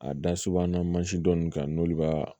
A da subahana mansin dɔ ninnu kan n'olu b'a